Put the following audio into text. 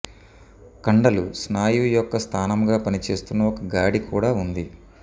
కండలు స్నాయువు యొక్క స్థానంగా పనిచేస్తున్న ఒక గాడి కూడా ఉంది